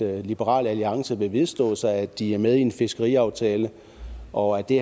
liberal alliance vil vedstå sig at de er med i en fiskeriaftale og at det